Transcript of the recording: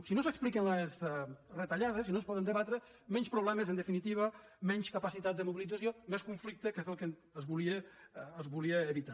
si no s’expliquen les retallades si no es poden debatre menys problemes en definitiva menys capacitat de mobilització menys conflicte que és el que es volia evitar